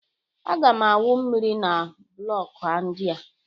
Aga m awụ mmiri na blọkụ ndị a.